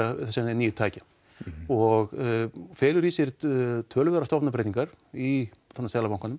nýju tækja og felur í sér töluverðar stofnanabreytingar í Seðlabankanum